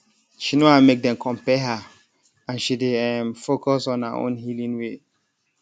she no wan make dem compare her and she dey um focus on her own healing way